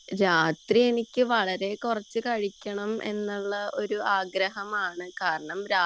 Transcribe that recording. രാത്രി എനിക്ക് വളരെ കുറച്ചു കഴിക്കണം എന്ന ആഗ്രഹമാണ് കാരണം